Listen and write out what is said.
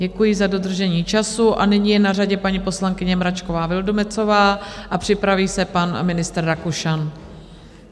Děkuji za dodržení času a nyní je na řadě paní poslankyně Mračková Vildumetzová a připraví se pan ministr Rakušan.